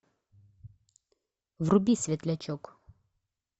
вруби светлячок